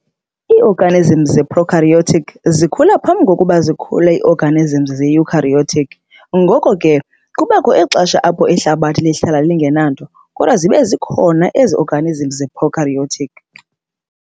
Ii-organisms ze-Prokaryotic zikhula phambi kokuba zikhule ii-orgamisms ze-eukaryotic, ngoko ke kubakho ixesha apho ihlabathi lihlala lingenanto kodwa zibe zikhona zona ii-organisms ze-prokaryotic.